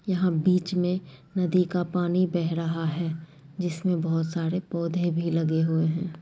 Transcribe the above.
यहां बीच मे नदी का पानी बह रहा हैं जिसमे बहुत सारे पौधे भी लगे हुए हैं।